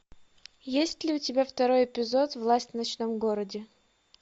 есть ли у тебя второй эпизод власть в ночном городе